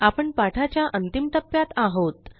आपण पाठाच्या अंतिम टप्प्यात आहोत